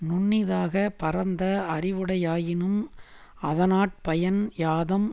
நுண்ணிதாகப் பரந்த அறிவுடையானாயினும் அதனாற் பயன் யாதாம்